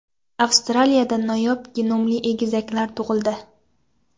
Avstraliyada noyob genomli egizaklar tug‘ildi.